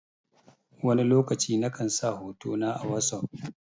Wani lokaci na kan sa hoto na a wosof.